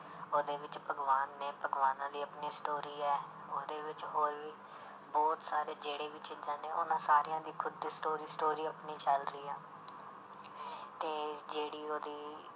ਉਹਦੇ ਵਿੱਚ ਭਗਵਾਨ ਨੇ ਭਗਵਾਨਾਂ ਦੀ ਆਪਣੀ story ਹੈ ਉਹਦੇ ਵਿੱਚ ਹੋਰ ਵੀ ਬਹੁਤ ਸਾਰੇ ਜਿਹੜੇ ਵੀ ਚੀਜ਼ਾਂ ਨੇ ਉਹਨਾਂ ਸਾਰਿਆਂ ਦੀ ਖ਼ੁਦ ਦੀ story story ਆਪਣੀ ਚੱਲ ਰਹੀ ਹੈ ਤੇ ਜਿਹੜੀ ਉਹਦੀ